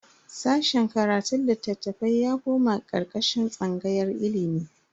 Sashen karatun litattafai ya koma karkashin tsangayar ilimi.